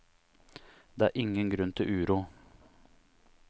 Det er ingen grunn til uro.